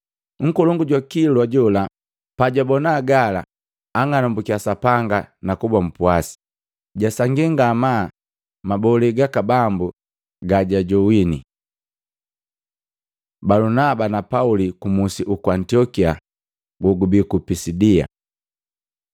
Nkolongu jwa kilwa jola pajwabona gala, anng'anambukiya Sapanga nakuba mpwasi, jasangi ngamaa mabole gaka Bambu gajajowini. Balunaba na Pauli ku musi uku Antiokia gogubii ku Pisidia